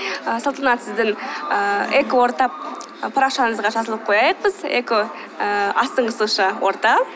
і салтанат сіздің ііі экоорта парақшаңызға жазылып қояйық біз эко ііі астыңғы сызықша орта